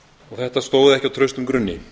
þetta stóð ekki á traustum grunni